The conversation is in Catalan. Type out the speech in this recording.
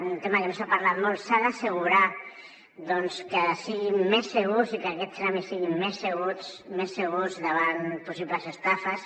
un tema que no s’ha parlat molt s’ha d’assegurar doncs que siguin més segurs i que aquests tràmits siguin més segurs davant possibles estafes